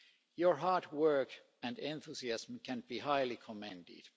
Your hard work and enthusiasm can be highly commended.